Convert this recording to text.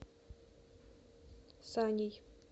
саней